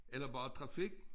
Eller bare trafik